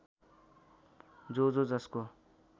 जो जो जसको